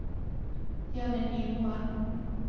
Jonny Nymoen